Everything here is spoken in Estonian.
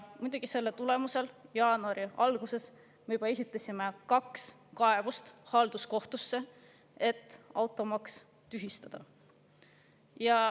Selle tulemusel jaanuari alguses me esitasime kaks kaebust halduskohtusse, et automaks tühistada.